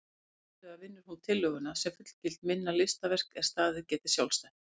Iðulega vinnur hún tillöguna sem fullgilt minna listaverk er staðið geti sjálfstætt.